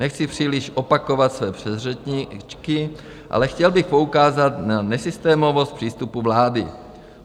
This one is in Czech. Nechci příliš opakovat své předřečníky, ale chtěl bych poukázat na nesystémovost přístupu vlády.